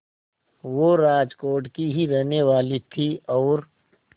वो राजकोट की ही रहने वाली थीं और